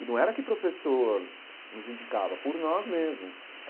E não era que o professor nos indicava, por nós mesmos.